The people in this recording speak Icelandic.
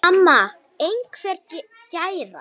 Mamma einhver gæra?